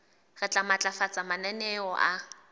re tla matlafatsa mananeo a